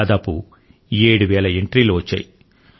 దాదాపు 7 వేల ఎంట్రీలు వచ్చాయి